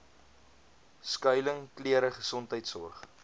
skuiling klere gesondheidsorg